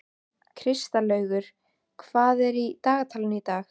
Kristlaugur, hvað er í dagatalinu í dag?